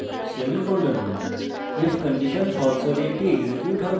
if condition false হলে এটি execute হবে